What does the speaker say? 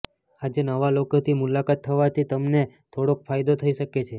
આજે નવા લોકો થી મુલાકાત થવાથી તમને થોડોક ફાયદો થઇ શકે છે